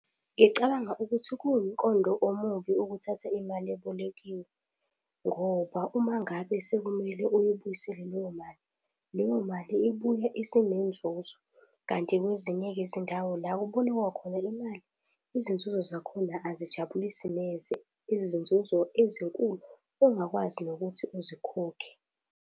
Ngicabanga ukuthi kuwumqondo omubi ukuthatha imali ebolekiwe ngoba uma ngabe sekumele uyibuyisele leyo mali, leyo mali ibuya isinenzuzo. Kanti kwezinye izindawo la ekubolekwa khona imali, izinzuzo zakhona azijabulisi neze, izinzuzo ezinkulu ongakwazi nokuthi uzikhokhe.